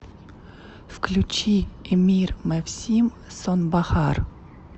включи эмир мевсим сонбахар